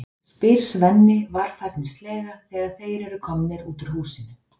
spyr Svenni varfærnislega þegar þeir eru komnir út úr húsinu.